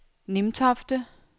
Nimtofte